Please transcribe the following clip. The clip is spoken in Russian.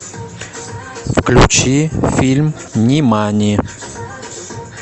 включи фильм нимани